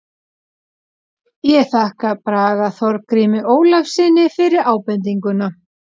Ég þakka Braga Þorgrími Ólafssyni fyrir ábendinguna.